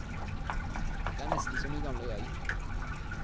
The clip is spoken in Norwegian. Det er nesten som i gamle dager.